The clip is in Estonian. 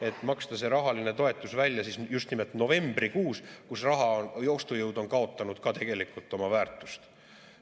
–, et maksta see rahaline toetus välja just nimelt novembrikuus, kui raha ostujõud on kaotanud ka tegelikult oma väärtust.